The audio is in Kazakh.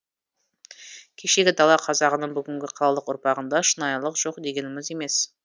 кешегі дала қазағының бүгінгі қалалық ұрпағында шынайылық жоқ дегеніміз емес